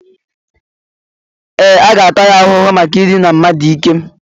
Ee, a ga-ata ya ahụhụ maka idina mmadụ n'ike